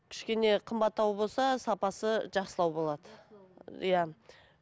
кішкене қымбаттауы болса сапасы жақсылау болады иә